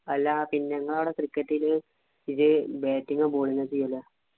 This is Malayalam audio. അല്ലാ പിന്നെങ്ങാ അവിടെ cricket ഇല് ജ്ജ് batting ഓ, bowling ഓ ചെയ്യല്?